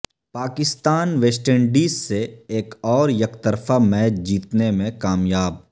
Pakistan West Indies سے ایک اور یک طرفہ میچ جیتنے میں کامیاب